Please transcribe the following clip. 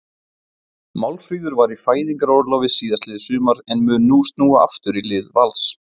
Málfríður var í fæðingarorlofi síðastliðið sumar en mun nú snúa aftur í lið Vals.